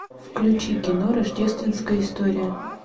включи кино рождественская история